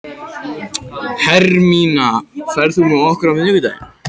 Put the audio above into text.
Hermína, ferð þú með okkur á miðvikudaginn?